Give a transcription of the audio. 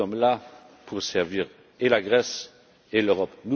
Nous sommes là pour servir et la Grèce et l'Europe.